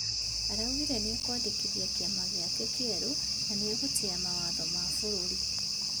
Araugire nĩekwandĩkithia kĩama gĩake kĩerũ na nĩegũtĩya mawatho ma bũrũri.